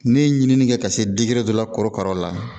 Ne ye ɲinini kɛ ka se dɔ la korokara la